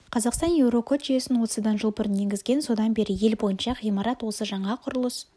қазақстан еурокод жүйесін осыдан жыл бұрын енгізген содан бері ел бойынша ғимарат осы жаңа құрылыс